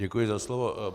Děkuji za slovo.